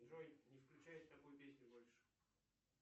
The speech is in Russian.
джой не включай такую песню больше